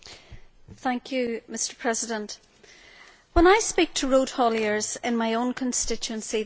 Mr President, when I speak to road hauliers in my own constituency, they tell me two things.